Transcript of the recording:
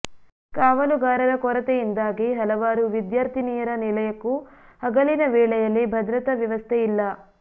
ಕಾವಲುಗಾರರ ಕೊರತೆಯಿಂದಾಗಿ ಹಲವಾರು ವಿದ್ಯಾರ್ಥಿನಿಯರ ನಿಲಯಕ್ಕೂ ಹಗಲಿನ ವೇಳೆಯಲ್ಲಿ ಭದ್ರತಾ ವ್ಯವಸ್ಥೆ ಇಲ್ಲ